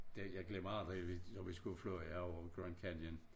Det jeg glemmer aldrig vi når vi skulle flyve over Grand Canyon